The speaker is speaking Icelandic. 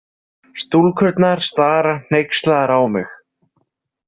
Stúlkurnar stara hneykslaðar á mig.